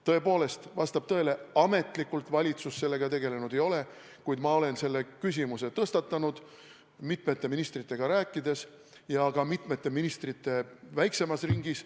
Tõepoolest, vastab tõele, ametlikult valitsus sellega tegelenud ei ole, kuid ma olen selle küsimuse tõstatanud, rääkides mitmete ministritega väiksemas ringis.